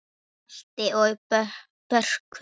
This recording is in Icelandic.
Balti og Börkur!